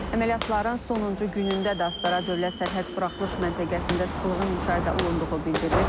Əməliyyatların sonuncu günündə də Astara dövlət sərhəd buraxılış məntəqəsində sıxlığın müşahidə olunduğu bildirilir.